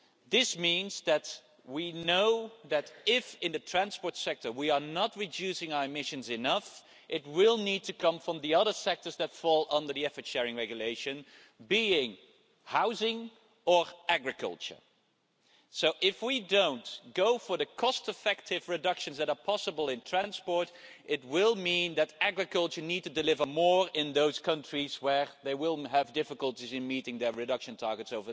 This means that we know that if in the transport sector we are not reducing our emissions enough, reductions will need to come from the other sectors that fall under the Effort Sharing Regulation, being housing or agriculture. If we don't go for the cost-effective reductions that are possible in transport, it will mean that agriculture needs to deliver more in those countries where they will have difficulties in meeting their reduction targets.